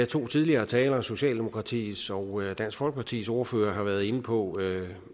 to tidligere talere socialdemokratiets og dansk folkepartis ordførere har været inde på